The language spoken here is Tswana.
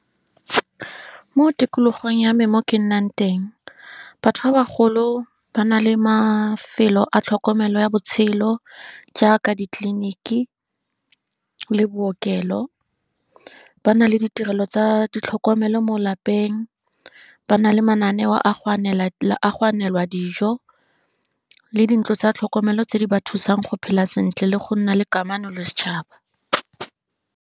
Mo tikologong ya me mo ke nnang teng, batho ba ba golo ba na le mafelo a tlhokomelo ya botshelo. Jaaka ditleliniki, le bookelo, ba na le ditirelo tsa ditlhokomelo mo lapeng, ba na le mananeo a go anelwa a dijo, le dintlo tsa tlhokomelo tse di ba thusang go phela sentle le go nna le kamano le setšhaba.